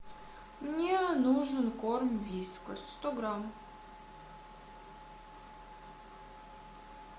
мне нужен корм вискас сто грамм